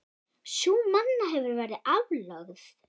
Sú náma hefur verið aflögð.